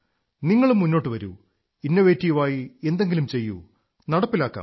നങ്ങളും മുന്നോട്ടു വരൂ ഇന്നോവേറ്റീവായി എന്തെങ്കിലും ചെയ്യൂ നടപ്പിലാക്കാം